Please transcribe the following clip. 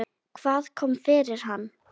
Hvað kom fyrir hann?